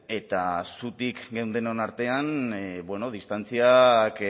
eta zutik geundenon artean bueno distantziak